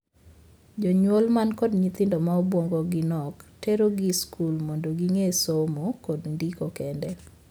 Jonyuol man kod nyithindo ma obuongogi nok terogi skul mondo ging'ee somo kod ndiko kende.